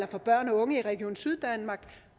for børn og unge i region syddanmark